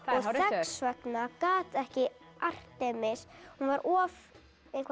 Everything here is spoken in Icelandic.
þess vegna gat ekki Artemis hún var of